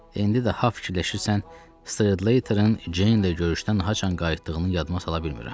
İndi daha fikirləşirsən Streletın Jane ilə görüşdən haçan qayıtdığını yadıma sala bilmirəm.